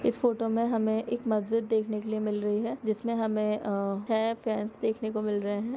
इस फोटो में हमे एक मस्जिद देखने के लिए मिल रही हैं--- ]